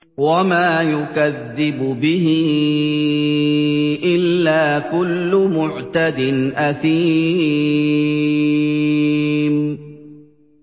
وَمَا يُكَذِّبُ بِهِ إِلَّا كُلُّ مُعْتَدٍ أَثِيمٍ